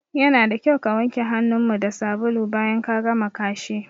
Yana da kyau ka wanke hanun mu da sabulu bayan ka gama kashi